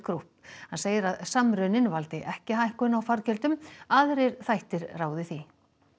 Group hann segir að samruninn valdi ekki hækkun á fargjöldum aðrir þættir ráði því